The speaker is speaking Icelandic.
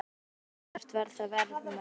Ef svo var, hvert var það verðmat?